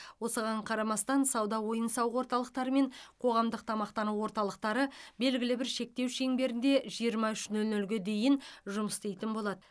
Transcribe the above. осыған қарамастан сауда ойын сауық орталықтары мен қоғамдық тамақтану орталықтары белгілі бір шектеу шеңберінде жиырма үш нөл нөлге дейін жұмыс істейтін болады